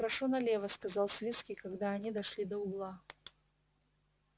прошу налево сказал свицкий когда они дошли до угла